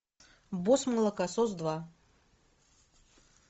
босс молокосос два